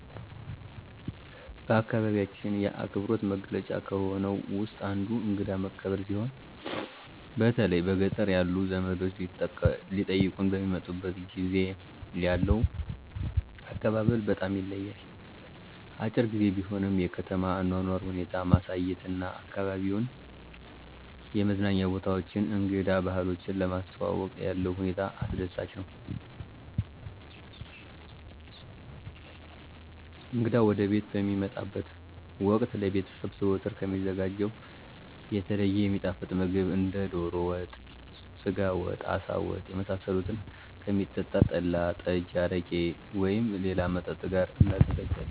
በአካባቢያችን የአክብሮት መገለጫ ከሆነው ውስጥ አንዱ እንግዳ መቀበል ሲሆን በተለይ በገጠር ያሉ ዘመዶቻችን ሊጠይቁን በሚመጡበት ጊዜ ያለው አቀባበል በጣም ይለያል። አጭር ግዜ ቢሆንም የከተማ አኗኗር ሁኔታ ማሳየት እና አካባቢዉን የመዝናኛ ቦታዎችን እንግዳ ባህሎችን ለማስተዋወቅ ያለው ሁኔታ አስደሳች ነው። እንግዳ ወደቤት በሚመጣበት ወቅት ለቤተሰቡ ዘወትር ከሚዘጋጀው የተለየ የሚጣፍጥ ምግብ እንደ ዶሮ ወጥ፣ የስጋ ወጥ፣ አሳ ወጥ የመሳሰሉትን ከሚጠጣ ጠላ፣ ጠጅ፣ አረቄ ወይም ሌላ መጠጥ ጋር እናዘጋጃለን።